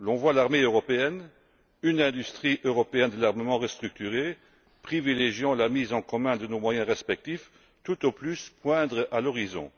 Nous voyons l'armée européenne, une industrie européenne de l'armement restructurée, privilégiant la mise en commun de nos moyens respectifs, tout au plus poindre à l'horizon.